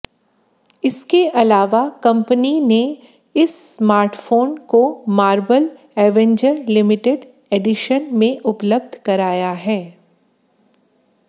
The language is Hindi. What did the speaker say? इसके अलावा कंपनी ने इस स्मार्टफोन को मार्बल एवेंजर लिमिटेड एडिशन में उपलब्ध कराया है